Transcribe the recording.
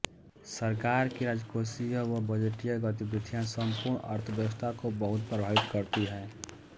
सरकार की राजकोषीय व बजटीय गतिविधियां संपूर्ण अर्थव्यवस्था को बहुत प्रभावित करती है